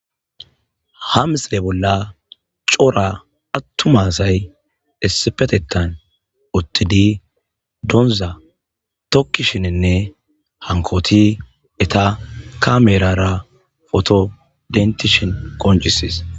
Ha misilezan daro atuma asay issipetetan utid dooza tokishninne hankot eta kamerara poto denitishn qoncises.